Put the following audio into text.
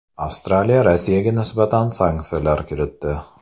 Avstraliya Rossiyaga nisbatan sanksiyalar kiritdi.